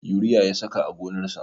Yuriya ya saka a gonarsa